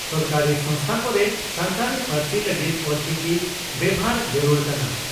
ᱥᱚᱨᱠᱟᱨᱤ ᱥᱚᱝᱜᱥᱛᱷᱟ ᱠᱚᱨᱮ ᱥᱟᱱᱛᱟᱲᱤ ᱯᱟᱹᱨᱥᱤ ᱞᱟᱹᱜᱤᱫ ᱚᱞᱪᱤᱠᱤ ᱵᱮᱵᱷᱟᱨ ᱡᱟᱹᱨᱩᱲ ᱠᱟᱱᱟ ᱾